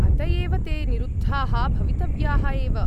अत एव ते निरुद्धाः भवितव्याः एव!